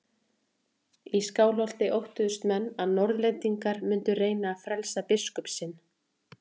Í Skálholti óttuðust menn að Norðlendingar mundu reyna að frelsa biskup sinn.